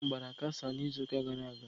Watermelon gbara kasaa n'izuụka gara aga.